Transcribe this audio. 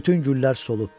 Bütün güllər solub.